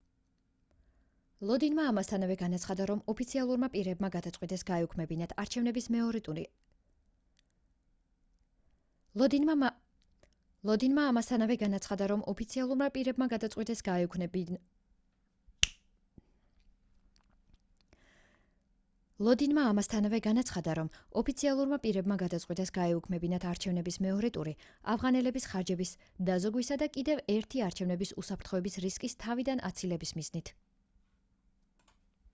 ლოდინმა ამასთანავე განაცხადა რომ ოფიციალურმა პირებმა გადაწყვიტეს გაეუქმებინათ არჩევნების მეორე ტური ავღანელების ხარჯების დაზოგვისა და კიდევ ერთი არჩევნების უსაფრთხოების რისკის თავიდან აცილების მიზნით